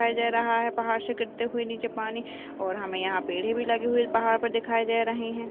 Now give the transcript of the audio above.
दिखाई दे रहा है पहाड़ से गिरते हुए नीचे पानी ओेेर हमें यहाँ पेड़ भी लगे हुए पहाड़ पे दिखाई दे रहे हैं।